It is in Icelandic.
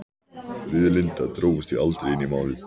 Fyrsti hákarlinn kom á vaðinn hjá Jórunni.